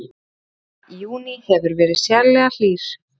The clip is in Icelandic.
Júní hefur verið sérlega hlýr